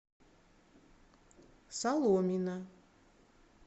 соломина